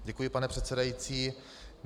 Děkuji, pane předsedající.